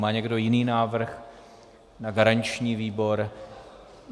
Má někdo jiný návrh na garanční výbor?